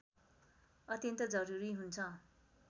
अत्यन्त जरुरी हुन्छ